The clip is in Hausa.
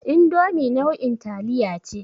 Indomi nau'in taliya ce.